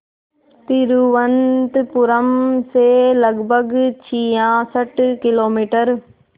तिरुवनंतपुरम से लगभग छियासठ किलोमीटर